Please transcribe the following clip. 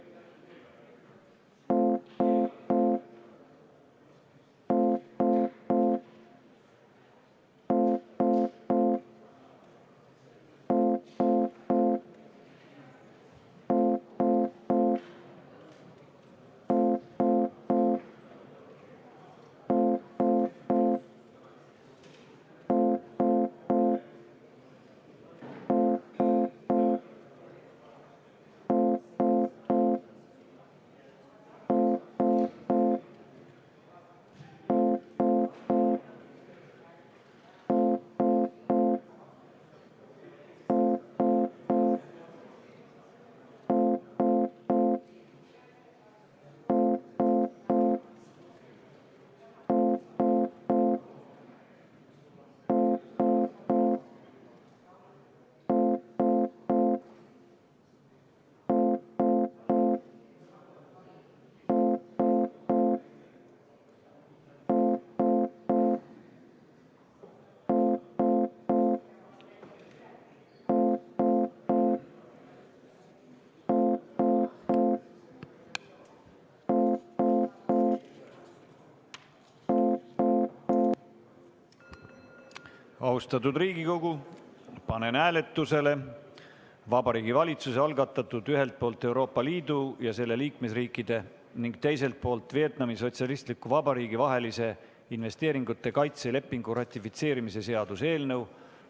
Austatud Riigikogu, panen hääletusele Vabariigi Valitsuse algatatud ühelt poolt Euroopa Liidu ja selle liikmesriikide ning teiselt poolt Vietnami Sotsialistliku Vabariigi vahelise investeeringute kaitse lepingu ratifitseerimise seaduse eelnõu.